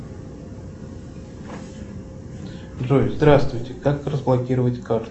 джой здравствуйте как разблокировать карту